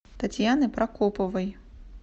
татьяны прокоповой